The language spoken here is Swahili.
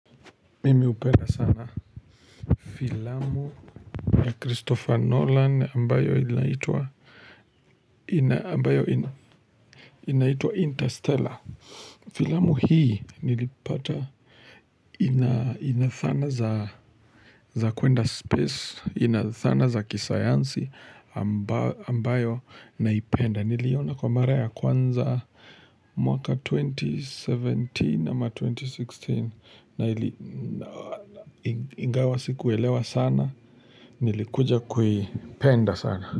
Mimi upenda sana filamu ya kristofa nolan ambayo inaitwaa ina ambayo inaitua interstellar filamu hii nilipata ina inathana za zakuenda space inathana za kisayansi ambao ambayo naipenda niliona kwa mara ya kwanza mwaka 2017 ama 2016 na ili ingawa sikuwelewa sana Nilikuja kui penda sana.